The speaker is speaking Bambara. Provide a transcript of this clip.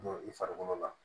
Don i farikolo la